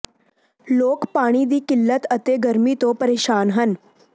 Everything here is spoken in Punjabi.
ਲੋਕ ਪਾਣੀ ਦੀ ਕਿੱਲਤ ਅਤੇ ਗਰਮੀ ਤੋਂ ਪਰੇਸ਼ਾਨ ਹਨ